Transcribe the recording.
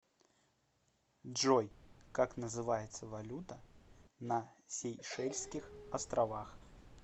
джой как называется валюта на сейшельских островах